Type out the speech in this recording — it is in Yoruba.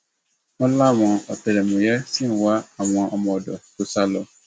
wọn láwọn ọtẹlẹmúyẹ ṣì ń wá àwọn ọmọọdọ tó sá lọ